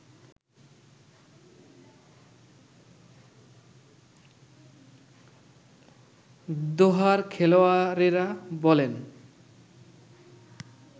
দোহার-খেলোয়াড়েরা বলেন